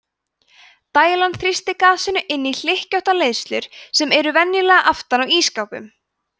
dælan þrýstir gasinu inn í hlykkjóttu leiðslurnar sem eru venjulega aftan á ísskápnum